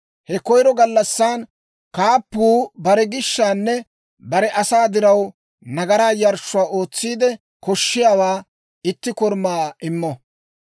He koyiro gallassan kaappuu bare gishshaanne bare asaa diraw nagaraa yarshshuwaa ootsiide koshiyaawaa, itti korumaa immo.